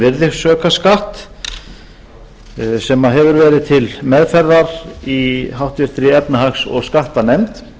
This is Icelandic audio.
um virðisaukaskatt sem hefur verið til meðferðar í háttvirtri efnahags og skattanefnd